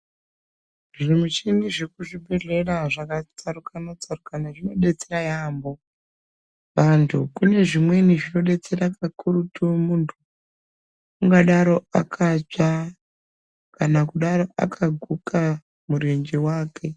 Zvimuchini zvekuzvibhedhlera zvakatsarukana tsarukana zvinodetsera yaampo vantu kune zvimweni zvinodetsera kakurutu muntu ungadaro akatsva kana kudaro akaguka murenje wake.